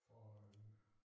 For en